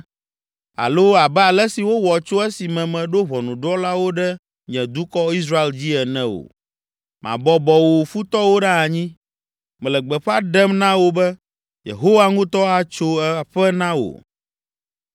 alo abe ale si wowɔ tso esime meɖo ʋɔnudrɔ̃lawo ɖe nye dukɔ, Israel dzi ene o. Mabɔbɔ wò futɔwo ɖe anyi. Mele gbeƒã ɖem na wò be, Yehowa ŋutɔ atso aƒe na wò.